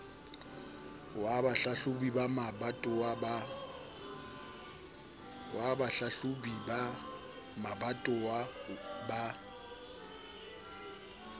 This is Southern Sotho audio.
ao bahlahlobi ba mabatowa ba